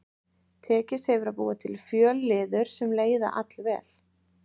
Tekist hefur að búa til fjölliður sem leiða allvel.